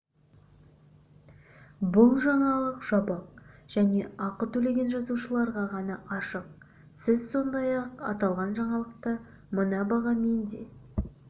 бұл жаңалық жабық және ақы төлеген жазылушыларға ғана ашық сіз сондай-ақ аталған жаңалықты мына бағамен де